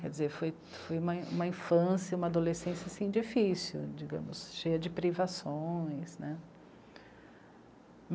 Quer dizer, foi, foi uma, uma infância, uma adolescência, assim, difícil, digamos, cheia de privações, né?